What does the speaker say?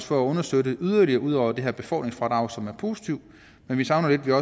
for at understøtte det yderligere ud over det her med befordringsfradraget som er positivt vi savner lidt at